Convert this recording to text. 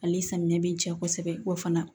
Ale samiyɛ bi ja kosɛbɛ wa fana